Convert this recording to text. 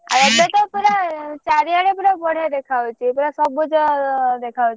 ଆଉ ଏବେ ତ ପୁରା ଚାରିଆଡେ ପୁରା ବଢିଆ ଦେଖାଯାଉଛି ପୁରା ସବୁଜ ଦେଖା ଯାଉଛି।